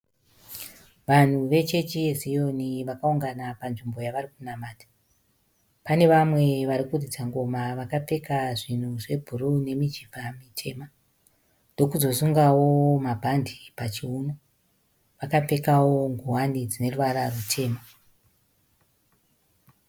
Vanhu vechechi yeziyoni vakaungana panzvimbo yavari kunamata. Pane vamwe vari kuridza ngoma vakapfeka zvinhu zvebhuruu nemijibha mitema, ndokuzosungawo mabhande pachiuno. Vakapfekawo ngowani dzine ruvara rwutema.